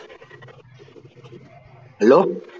hello